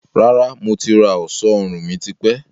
Rárá, mo ti rà ọ̀ṣọ́ ọrùn mi tipẹ́